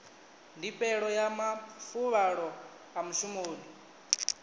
ndifhelo ya mafuvhalo a mushumoni